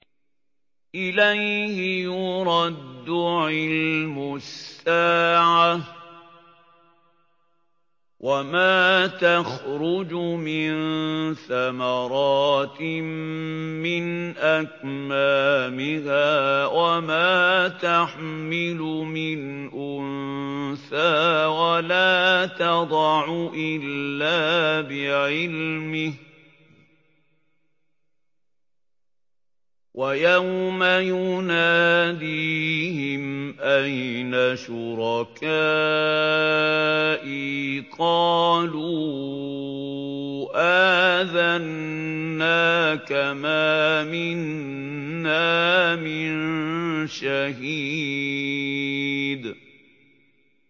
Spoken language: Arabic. ۞ إِلَيْهِ يُرَدُّ عِلْمُ السَّاعَةِ ۚ وَمَا تَخْرُجُ مِن ثَمَرَاتٍ مِّنْ أَكْمَامِهَا وَمَا تَحْمِلُ مِنْ أُنثَىٰ وَلَا تَضَعُ إِلَّا بِعِلْمِهِ ۚ وَيَوْمَ يُنَادِيهِمْ أَيْنَ شُرَكَائِي قَالُوا آذَنَّاكَ مَا مِنَّا مِن شَهِيدٍ